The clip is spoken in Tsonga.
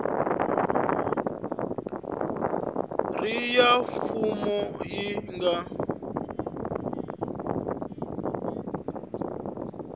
ri ya mfumo yi nga